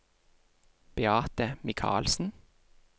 Beate Michaelsen